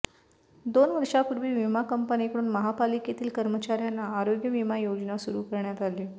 दोन वर्षापूर्वी विमा कंपनीकडून महापालिकेतील कर्मचार्यांना आरोग्य विमा योजना सुरू करण्यात आली